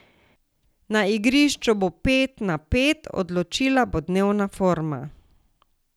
Na igrišču bo pet na pet, odločila bo dnevna forma.